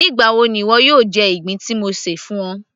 nígbà wo ni ìwọ yóò jẹ ìgbín tí mo ṣè fún ọ